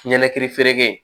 Ɲɛnɛkili feere kɛ